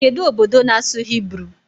Kedụ obodo na-asụ Hibru?